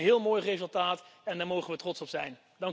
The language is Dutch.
Dat is een heel mooi resultaat en daar mogen we trots op zijn.